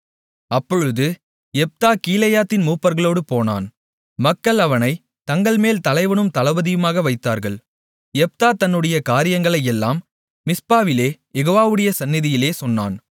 அப்பொழுது யெப்தா கீலேயாத்தின் மூப்பர்களோடு போனான் மக்கள் அவனைத் தங்கள்மேல் தலைவனும் தளபதியுமாக வைத்தார்கள் யெப்தா தன்னுடைய காரியங்களையெல்லாம் மிஸ்பாவிலே யெகோவாவுடைய சந்நிதியிலே சொன்னான்